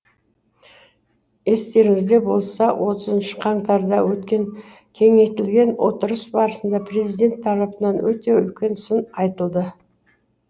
естеріңізде болса отызыншы қаңтарда өткен кеңейтілген отырыс барысында президент тарапынан өте үлкен сын айтылды